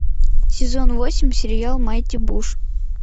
сезон восемь сериал майти буш